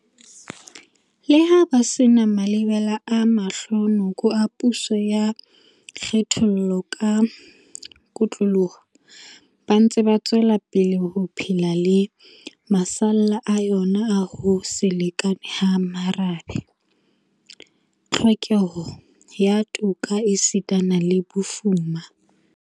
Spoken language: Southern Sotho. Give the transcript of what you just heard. Leha ba se na malebela a mahlo noko a puso ya kgethollo ka kotloloho, ba ntse ba tswelapele ho phela le masalla a yona a ho se lekane ha merabe, tlhokeho ya toka esita le bofuma.